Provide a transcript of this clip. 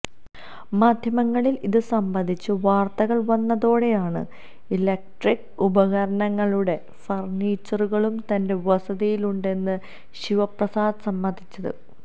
മാധ്യമങ്ങളില് ഇത് സംബന്ധിച്ച വാര്ത്തകള് വന്നതോടെയാണ് ഇലക്ട്രിക് ഉപകരണങ്ങളും ഫര്ണ്ണീച്ചറുകളും തന്റെ വസതിയിലുണ്ടെന്ന് ശിവപ്രസാദ് സമ്മതിച്ചത്